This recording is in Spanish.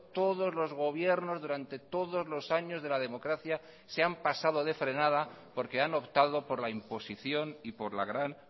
todos los gobiernos durante todos los años de la democracia se han pasado de frenada porque han optado por la imposición y por la gran